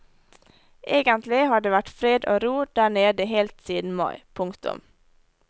Egentlig har det vært fred og ro der nede helt siden mai. punktum